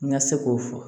N ka se k'o fɔ